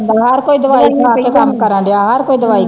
ਹਰ ਕੋਈ ਦਵਾਈ ਖਾ ਕੇ ਕੰਮ ਕਰਨ ਦਿਆ ਹਰ ਕੋਈ ਦਵਾਈ ਖਾਂਦਾ।